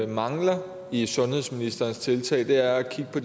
mangler i sundhedsministerens tiltag er at kigge på